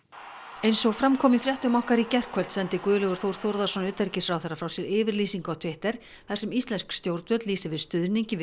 eins og fram kom í fréttum okkar í gærkvöld sendi Guðlaugur Þór Þórðarson utanríkisráðherra frá sér yfirlýsingu á Twitter þar sem íslensk stjórnvöld lýsa yfir stuðningi við